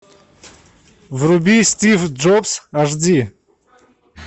вруби стив джобс аш ди